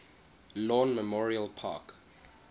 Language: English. lawn memorial park